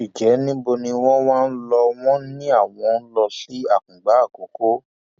ǹjẹ níbo ni wọn wá ń lò wọn ni àwọn ń lọ sí àkùngbà àkọkọ